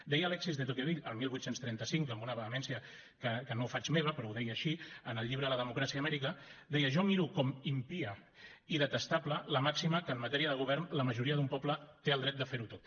deia alexis de tocqueville el divuit trenta cinc amb una vehemència que no faig meva però ho deia així en el llibre la democràcia a amèrica deia jo miro com impia i detestable la màxima que en matèria de govern la majoria d’un poble té el dret de fer ho tot